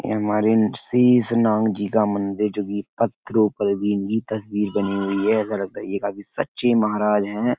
यह हमारे शीश नाग जी का मंदिर जोकि पत्थरों पर भी इनकी तस्वीर बनी हुई है। ऐसा लगता है यह काफी सच्चे महाराज हैं।